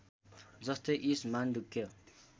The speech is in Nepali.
जस्तै ईश मान्डुक्य